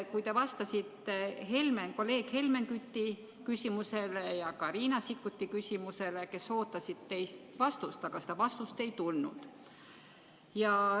Te vastasite Helmen Küti ja ka Riina Sikkuti küsimusele, kes ootasid teilt vastust, aga seda vastust ei tulnud.